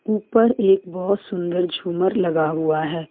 ऊपर एक बहोत सुंदर झुमर लगा हुआ है।